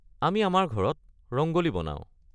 আমি আমাৰ ঘৰত ৰংগ'লী বনাও।